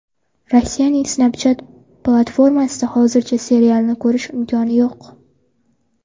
Rossiyaning Snapchat platformasida hozircha serialni ko‘rish imkoni yo‘q.